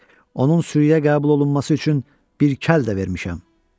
Onun sürüyə qəbul olunması üçün bir kəl də vermişəm.